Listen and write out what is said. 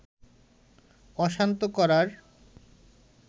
অশান্ত করার